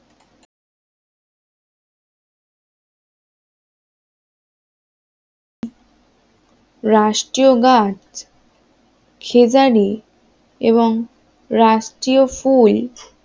রাষ্ট্রীয় গাছ খেজারী এবং রাষ্ট্রীয় ফুল